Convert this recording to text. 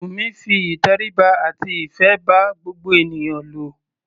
Bùnmi fi ìtẹríba àti ìfé bá gbogbo ènìyàn lò.